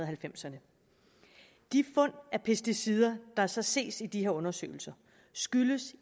halvfems ’erne de fund af pesticider der så ses i de her undersøgelser skyldes